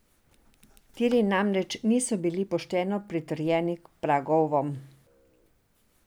Tiri namreč niso bili pošteno pritrjeni k pragovom.